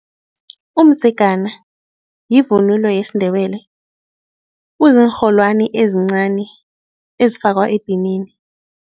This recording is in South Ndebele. Umdzegana yivunulo yesiNdebele kuziinrholwani ezincani ezifakwa edinini.